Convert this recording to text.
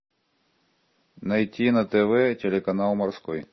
найти на тв телеканал морской